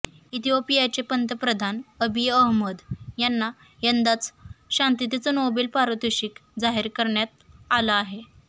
इथिओपियाचे पंतप्रधान Abiy Ahmed यांना यंदाचं शांततेचं नोबेल पारितोषिक जाहीर करण्यात आलं आहे